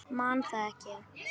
Man það ekki.